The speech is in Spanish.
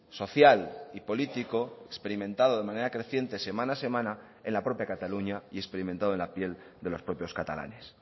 social y político experimentado de manera creciente semana a semana en la propia cataluña y experimentado en la piel de los propios catalanes